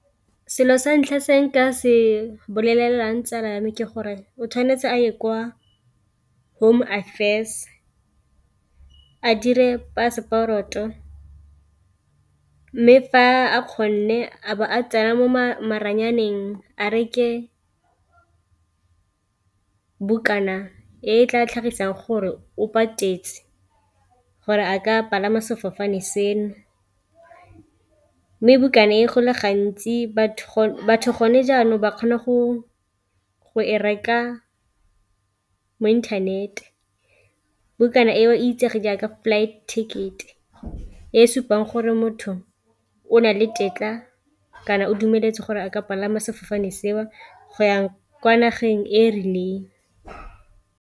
Selo sa ntlha se nka se bolelelang tsala ya me ke gore o tshwanetse a ye kwa home affairs a dire passport-o, mme fa a kgone a tsena mo maranyaneng a reke bokana e tla tlhagisang gore o patetse gore a ka palama sefofane seno. Mme bukana e go le gantsi batho gone jaanong ba kgona go e reka mo internet, bukana e o itsege jaaka flight ticket e supang gore motho o na le tetla kana o dumeletse gore a ka palama sefofane seo go yang kwa nageng e e rileng.